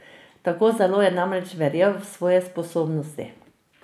Tako zelo je namreč verjel v svoje sposobnosti.